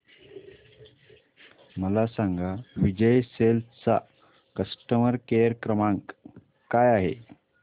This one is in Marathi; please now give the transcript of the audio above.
मला सांगा विजय सेल्स चा कस्टमर केअर क्रमांक काय आहे